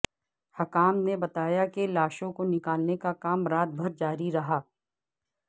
حکام نے بتایا کہ لاشوں کو نکالنے کا کام رات بھر جاری رہا